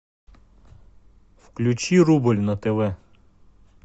включи рубль на тв